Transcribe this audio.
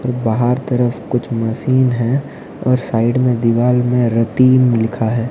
और बाहर तरफ कुछ मशीन हैं और साइड में दीवार में रहतिम लिखा है।